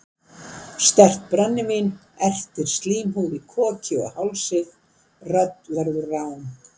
Sterkt brennivín ertir slímhúð í koki og hálsi, rödd verður rám.